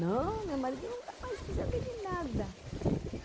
Não, meu marido nunca mais quis saber de nada.